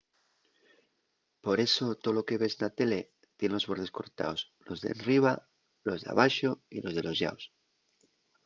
por eso tolo que ves na tele tien los bordes cortaos los d’enriba los d’abaxo y los de los llaos